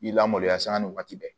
I lamaloya sanga ni waati bɛɛ